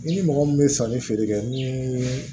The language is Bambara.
I ni mɔgɔ min bɛ sanni feere kɛ ni